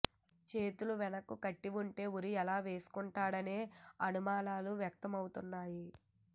చేతులు వెనుక్కు కట్టి ఉంటే ఉరి ఎలా వేసుకుంటాడనే అనుమానాలు వ్యక్తమౌతున్నాయి